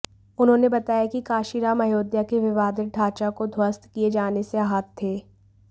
उन्होंने बताया कि कांशीराम अयोध्या के विवादित ढांचा को ध्वस्त किए जाने से आहत थे